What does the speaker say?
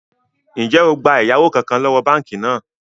Ń jẹ́ ó gbà ẹ̀yáwó kánkán lọ́wọ́ báànkì náà?